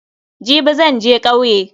Jibi zan je kauye.